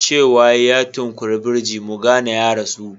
Cewa ya yi, "ya tunkuyi birji" mu ka gane ya rasu